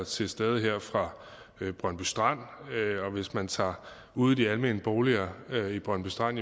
til stede fra brøndby strand og hvis man tager ud i de almene boliger i brøndby strand